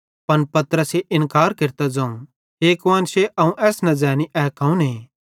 पन पतरसे इन्कार केरतां ज़ोवं हे कुआन्शे अवं एस न ज़ैनी ए कौने